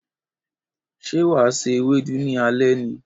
Ṣé wà á se Ewédú ní alé ni?